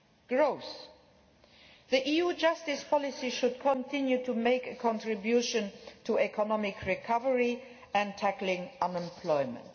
Growth EU justice policy should continue to make a contribution to economic recovery and tackling unemployment.